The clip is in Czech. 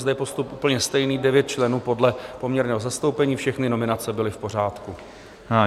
Zde je postup úplně stejný, 9 členů podle poměrného zastoupení, všechny nominace byly v pořádku.